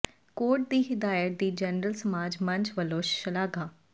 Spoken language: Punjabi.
ਕੋਰਟ ਦੀ ਹਦਾਇਤ ਦੀ ਜਨਰਲ ਸਮਾਜ ਮੰਚ ਵੱਲੋਂ ਸ਼ਲਾਘਾ